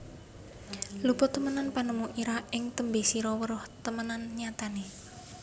Luput temenan panemu ira ing tembe sira weruh temenan nyatane